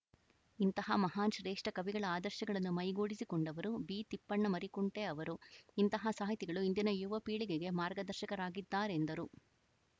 ಇಂತಹ ಮಹಾನ್‌ ಶ್ರೇಷ್ಠ ಕವಿಗಳ ಆದರ್ಶಗಳನ್ನು ಮೈಗೂಡಿಸಿಕೊಂಡವರು ಬಿತಿಪ್ಪಣ್ಣ ಮರಿಕುಂಟೆ ಅವರು ಇಂತಹ ಸಾಹಿತಿಗಳು ಇಂದಿನ ಯುವ ಪೀಳಿಗೆಗೆ ಮಾರ್ಗದರ್ಶಕರಾಗಿದ್ದಾರೆಂದರು